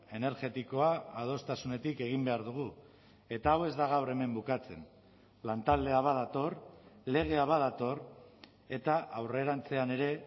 energetikoa adostasunetik egin behar dugu eta hau ez da gaur hemen bukatzen lantaldea badator legea badator eta aurrerantzean ere